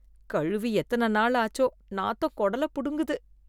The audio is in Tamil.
கழுவி எத்தனை நாள் ஆச்சோ? நாத்தம் குடலை புடுங்குது.